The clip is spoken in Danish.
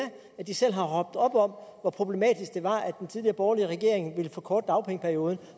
at de selv har råbt op om hvor problematisk det var at den tidligere borgerlige regering ville forkorte dagpengeperioden